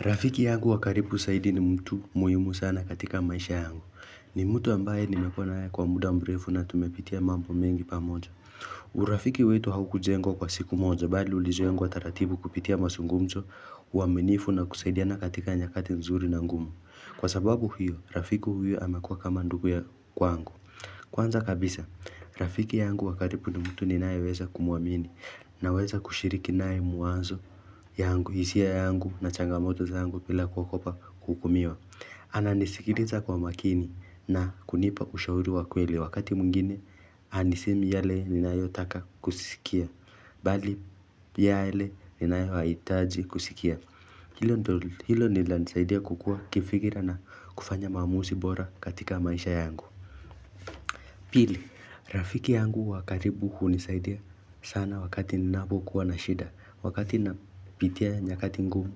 Rafiki yangu wa karibu zaidi ni mtu muhimu sana katika maisha yangu. Ni mtu ambaye nimekuwa na yeye kwa muda mrefu na tumepitia mambo mengi pamoja. Urafiki wetu haukujengwa kwa siku moja bali ulijengwa taratibu kupitia mazungumzo uaminifu na kusaidiana katika nyakati nzuri na ngumu. Kwa sababu huyo, Rafiki huyo amekua kama ndugu ya kwangu. Kwanza kabisa, Rafiki yangu wa karibu ni mtu ninayeweza kumuamini Naweza kushiriki naye mwanzo yangu, hisia yangu na changamoto zangu bila kuogopa kuhukumiwa Ananisikiliza kwa makini na kunipa ushauri wa kweli Wakati mwingine, hanisemi yale ninayo taka kusikia Bali, yale ninayo haitaji kusikia Hilo lilanisaidia kukua kifikira na kufanya maamuzi bora katika maisha yangu Pili, rafiki yangu wa karibu hunisaidia sana wakati ninapo kuwa na shida, wakati napitia nyakati ngumu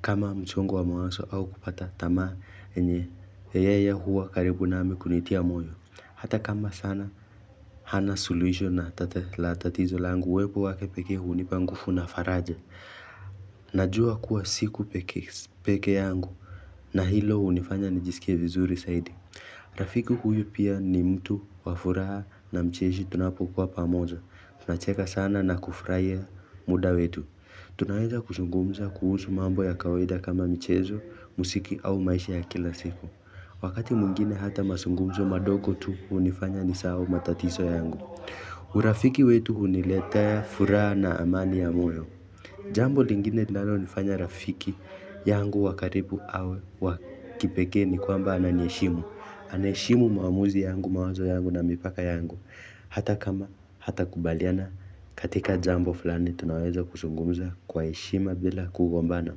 kama msongo wa mawazo au kukata tamaa yenye, yeye ya huwa karibu nami kunitia moyo, hata kamba sana hana suluhisho na tatizo langu uwepo wake pekee hunipa nguvu na faraja Najua kuwa siku peke yangu na hilo hunifanya nijisikia vizuri saidi Rafiki huyu pia ni mtu wa furaha na mcheshi tunapokuwa pamoja. Tunacheka sana na kufurahia muda wetu. Tunaweza kuzungumza kuhusu mambo ya kawaida kama mchezo, mziki au maisha ya kila siku. Wakati mwngine hata mazungumzo madogo tu hunifanya nisahau matatizo yangu. Urafiki wetu huniletea furaha na amani ya moyo. Jambo lingine linalo nifanya rafiki yangu wa karibu au wa kipekee ni kwamba ananiheshimu. Anaheshimu maamuzi yangu mawazo yangu na mipaka yangu hata kama hatakubaliana katika jambo fulani tunaweza kuzungumza kwa heshima bila kugombana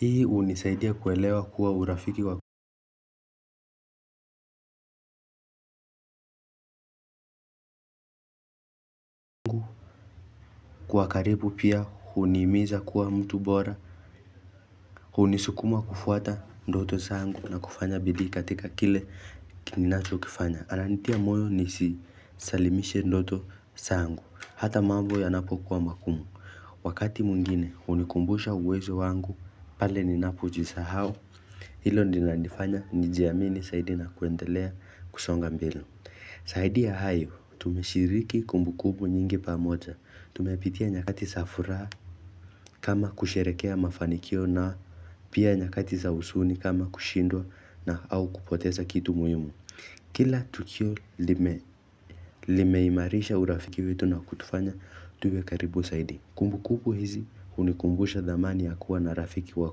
Hii hunisaidia kuelewa kuwa urafiki wa Kwa karibu pia hunihimiza kuwa mtu bora hunisukuma kufuata ndoto zangu na kufanya bidii katika kile kinacho kifanya Ananitia moyo nisisalimishe ndoto zangu hata mambo yanapokuwa mangumu Wakati mwingine hunikumbusha uwezo wangu pale ninapojisahau Hilo ninanifanya nijiamini zaidi na kuendelea kusonga mbele zaidi ya hayo tumeshiriki kumbu kumbu nyingi pamoja Tumepitia nyakati za furaha kama kusherehekea mafanikio na Pia nyakati sa huzuni kama kushindwa na au kupoteza kitu muhimu Kila tukio limeimarisha urafiki wetu na kutufanya tuwe karibu zaidi Kumbu kumbu hizi hunikumbusha dhamani ya kuwa na rafiki wa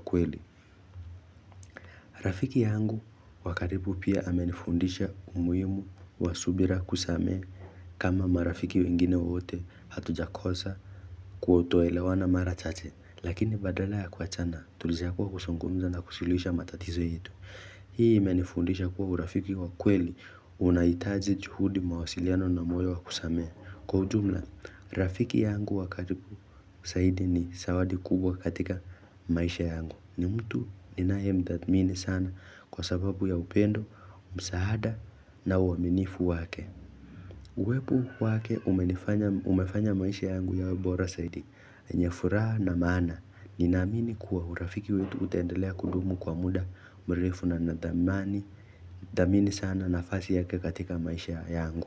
kweli. Rafiki yangu wa karibu pia amenifundisha umuhimu wa subira kusamehe kama marafiki wengine wote hatujakosa kutoelewana mara chache. Lakini badala ya kuachana tulichagua kuzungumza na kusuluhisha matatizo yetu. Hii imenifundisha kuwa urafiki wa kweli unahitaji juhudi mawasiliano na moyo wakusamehe. Kwa ujumla, rafiki yangu wa karibu zaidi ni zawadi kubwa katika maisha yangu. Ni mtu ninaye mthatmini sana kwa sababu ya upendo, msaada na uaminifu wake. Uwepo wake umefanya maisha yangu yawe bora zaidi. Ni ya furaha na mana, ni naamini kuwa urafiki wetu utaendelea kudumu kwa muda mrefu na nadhamani. Dhamini sana nafasi yake katika maisha yangu.